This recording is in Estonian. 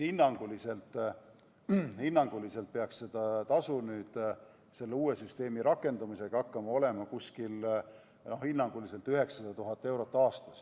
Hinnanguliselt peaks see tasu nüüd uue süsteemi rakendamisel olema 900 000 eurot aastas.